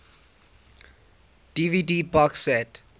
dvd box set